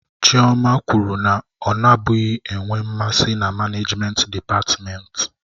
Chioma kwuru na ọ nabụghị enwe mmasị na manejment dịpatmenti.